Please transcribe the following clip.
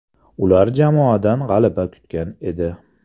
Ular jamoadan g‘alaba kutgan edi.